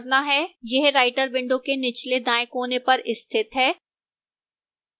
यह writer window के निचले दाएं कोने पर स्थित है